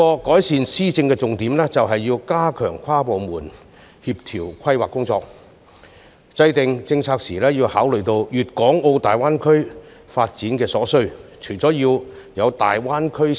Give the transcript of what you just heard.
改善施政的另一重點，在於加強跨部門協調的規劃工作，並在制訂政策時，一併考慮粤港澳大灣區發展所需。